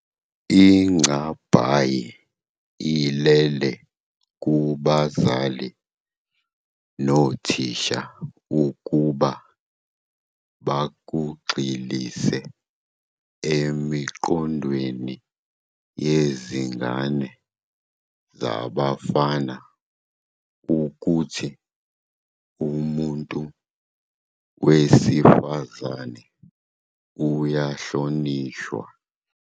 Ingcabhayi ilele kubazali nothisha ukuba bakugxilise emiqondweni yezingane zabafana ukuthi umuntu wesifazane uyahlonishwa.